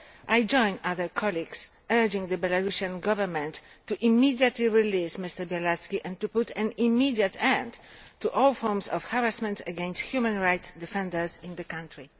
I join other colleagues in urging the Belarusian Government to immediately release Mr Bialatski and to put an immediate end to all forms of harassment against human rights defenders in the country.